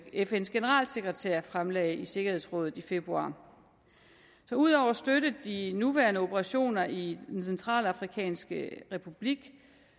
fns generalsekretær fremlagde i sikkerhedsrådet i februar så ud over at støtte de nuværende operationer i den centralafrikanske republik